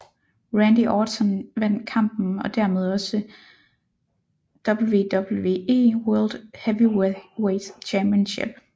Randy Orton vandt kampen og dermed også WWE World Heavyweight Championship